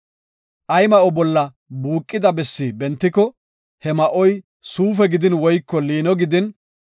“Ay ma7o bolla buuqida bessi bentiko, he ma7oy suufe gidin woyko liino gidin,